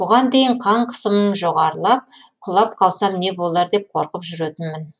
бұған дейін қан қысымым жоғарылып құлап қалсам не болар деп қорқып жүретінмін